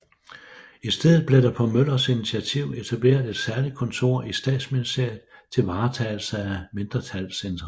I stedet blev der på Møllers initiativ etableret et særligt kontor i Statsministeriet til varetagelse af mindretallets interesser